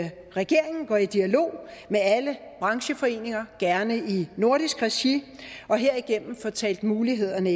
regeringen går i dialog med alle brancheforeninger gerne i nordisk regi og herigennem får talt mulighederne